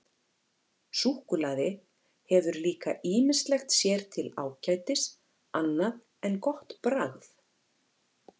Súkkulaði hefur líka ýmislegt sér til ágætis annað en gott bragð.